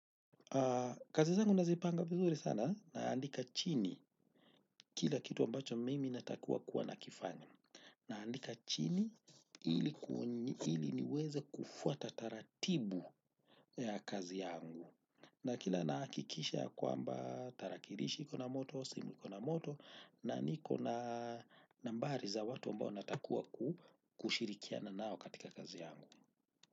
Kazi zangu nazipanga vizuri sana naandika chini kila kitu ambacho mimi natakiwa kuwa nakifanya. Naandika chini ili niweze kufuata taratibu ya kazi yangu na kila nahakikisha kwamba tarakirishi iko na moto, simu iko na moto na niko na nambari za watu ambao natakiwa kushirikiana nao katika kazi yangu.